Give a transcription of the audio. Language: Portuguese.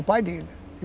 O pai dele.